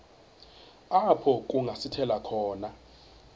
apho kungasithela khona